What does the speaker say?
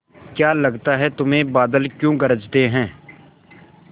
क्या लगता है तुम्हें बादल क्यों गरजते हैं